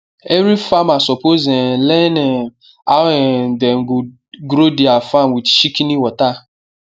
every farmer suppose um learn um how um dem go grow their farm with shikini water